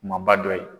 Kumaba dɔ ye